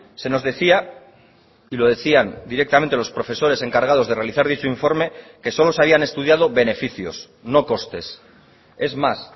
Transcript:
se nos decía y lo decían directamente los profesores encargados de realizar dicho informe que solo se habían estudiado beneficios no costes es más